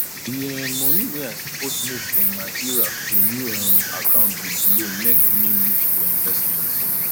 di um money wey i suppose move from my ira to new um account bin delay mek me lose for investment